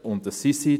Und das sind sie.